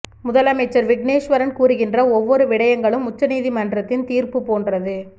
முதலமைச்சர் விக்னேஸ்வரன் கூறுகின்ற ஒவ்வொரு விடயங்களும் உச்ச நீதிமன்றத்தின் தீர்ப்புப் போன்றது